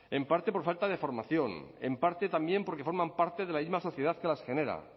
en parte por falta de formación en parte también porque forman parte de la misma sociedad que las genera